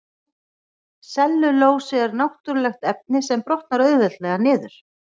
Sellulósi er náttúrulegt efni sem brotnar auðveldlega niður.